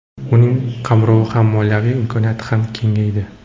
Uning qamrovi ham, moliyaviy imkoniyati ham kengaydi.